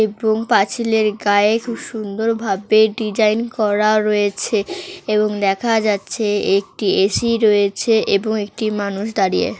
এবং পাঁচিলের গায়ে খুব সুন্দর ভাবে ডিজাইন করা রয়েছে এবং দেখা যাচ্ছে একটি এ.সি. রয়েছে এবং একটি মানুষ দাঁড়িয়ে।